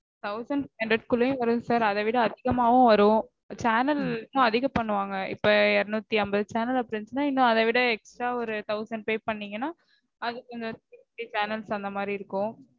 thousand five hundred குள்ளயும் வரும் sir அத விட அதிகமாவும் வரும். channels இன்னும் அதிகம் பண்ணுவாங்க. இப்போ இருநூத்தி அம்பது channel அப்படி இருந்துச்சுனா இன்னும் அதவிட extra ஒரு thousand pay பண்ணிங்கனா அது